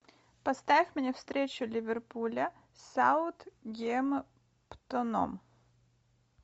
поставь мне встречу ливерпуля с саутгемптоном